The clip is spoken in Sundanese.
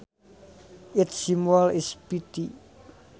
Its symbol is Pt